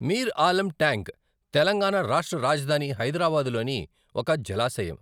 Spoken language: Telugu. మీర్ ఆలం ట్యాంక్, తెలంగాణ రాష్ట్ర రాజధాని హైదరాబాదులోని ఒక జలాశయం.